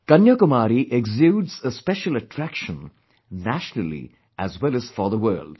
Kanyakumari exudes a special attraction, nationally as well as for the world